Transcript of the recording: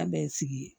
An bɛɛ ye sigi ye